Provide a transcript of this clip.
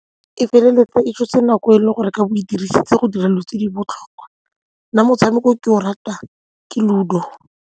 E feleletsa e tshotse nako e leng gore o ka bo o e dirisitse go dira dilo tse di botlhokwa. Nna motshameko o ke o ratang ke Ludo.